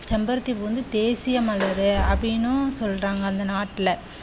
செம்பருத்தி பூ வந்து தேசிய மலர் அப்படின்னு சொல்றாங்க அந்த நாட்டுல.